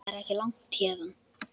Það er ekki langt héðan.